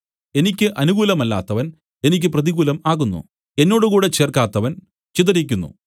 എനിക്ക് അനുകൂലമല്ലാത്തവൻ എനിക്ക് പ്രതികൂലം ആകുന്നു എന്നോടുകൂടെ ചേർക്കാത്തവൻ ചിതറിക്കുന്നു